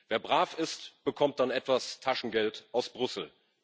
Wer brav ist, bekommt dann etwas Taschengeld aus Brüssel.